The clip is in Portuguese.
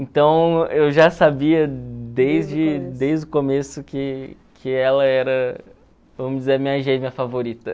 Então, eu já sabia desde desde o começo que que ela era, vamos dizer, minha gêmea favorita.